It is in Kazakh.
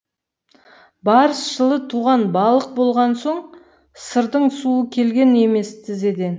барыс жылы туған балық болған соң сырдың суы келген емес тізеден